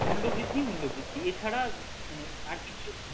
মূল্য বৃদ্ধি মূল্য বৃদ্ধি এছাড়া মানে আর কিছু